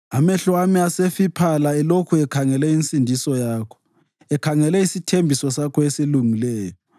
Amehlo ami asefiphala elokhu ekhangele insindiso yakho, ekhangele isithembiso sakho esilungileyo.